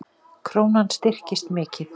Krónan styrkist mikið